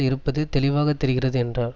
இருப்பது தெளிவாக தெரிகிறது என்றார்